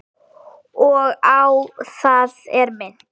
Og á það er minnt.